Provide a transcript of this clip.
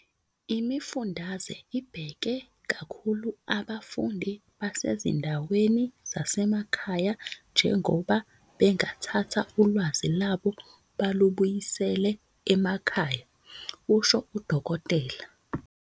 "Imifundaze ibheke kakhulu abafundi basezindaweni zasemakhaya njengoba bengathatha ulwazi lwabo balubuyisele emakhaya," kusho uDkt.